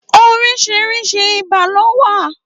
Óriṣiriṣi ibà ló wà